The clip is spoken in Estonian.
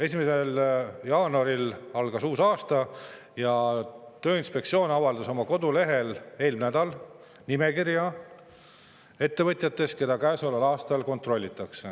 1. jaanuaril algas uus aasta ja Tööinspektsioon avaldas eelmine nädal oma kodulehel nimekirja ettevõtetest, keda käesoleval aastal kontrollitakse.